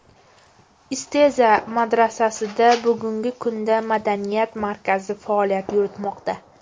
Isteza madrasasida bugungi kunda madaniyat markazi faoliyat yuritmoqda.